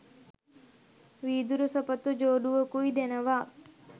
වීදුරු සපත්තු ජෝඩුවකුයි දෙනවා.